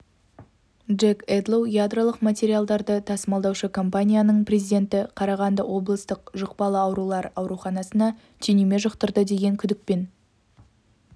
джек эдлоу ядролық материалдарды тасымалдаушы компанияның президенті қарағанды облыстық жұқпалы аурулар ауруханасына түйнеме жұқтырды деген күдікпен